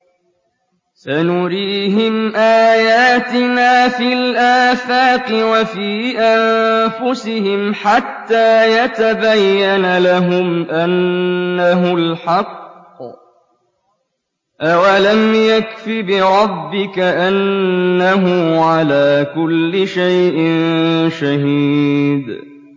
سَنُرِيهِمْ آيَاتِنَا فِي الْآفَاقِ وَفِي أَنفُسِهِمْ حَتَّىٰ يَتَبَيَّنَ لَهُمْ أَنَّهُ الْحَقُّ ۗ أَوَلَمْ يَكْفِ بِرَبِّكَ أَنَّهُ عَلَىٰ كُلِّ شَيْءٍ شَهِيدٌ